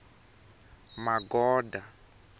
magoda